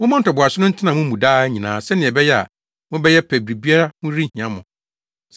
Momma ntoboase no ntena mo mu daa nyinaa sɛnea ɛbɛyɛ a mobɛyɛ pɛ a biribiara ho renhia mo.